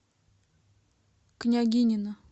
княгинино